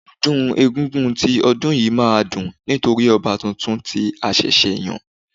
Ọdún egúngún ti ọdún yìí má a dùn nítorí ọba tuntun tí a ṣẹ̀ṣẹ̀ yán